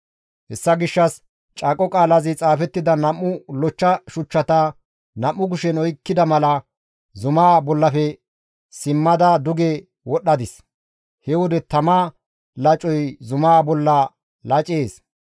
Hessa gishshas caaqo qaalazi xaafettida nam7u lochcha shuchchata nam7u kushen oykkida mala zumaa bollafe simmada duge wodhdhadis; he wode tama lacoy zumaa bolla lacees.